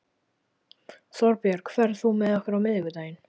Þorbjörg, ferð þú með okkur á miðvikudaginn?